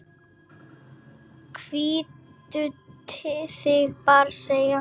Hvíldu þig bara, segi ég.